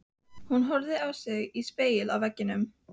Hún horfði á sig í spegli á veggnum.